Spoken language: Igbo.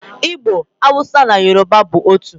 Igbo, Hausa na Yoruba bụ otu.